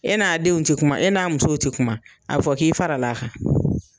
E n'a denw ti kuma e n'a musow ti kuma. A be fɔ k'i fara la a kan.